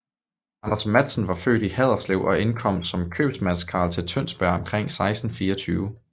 Anders Matsen var født i Haderslev og indkom som købmandskarl til Tønsberg omkring 1624